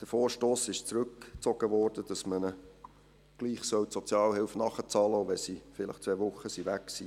Der Vorstoss, ihnen gleichwohl die Sozialhilfe nachzuzahlen, auch wenn sie vielleicht zwei Wochen weg waren, wurde zurückgezogen.